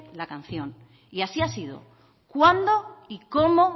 la canción y así ha sido cuando y como